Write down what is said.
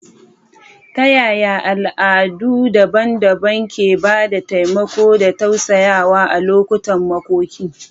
Ta yaya al'adu daban-daban ke ba da taimako da tausayawa a lokutan makoki?